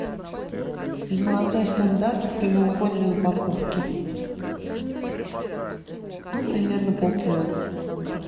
золотой стандарт в прямоугольной упаковке ну примерно полкило